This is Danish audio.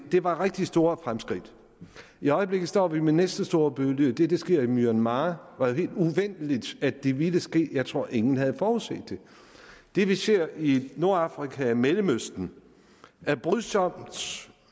det var rigtig store fremskridt i øjeblikket står vi med næste store bølge det er det der sker i myanmar og det var helt uventet at det ville ske jeg tror at ingen havde forudset det det vi ser i nordafrika og i mellemøsten er brydsomt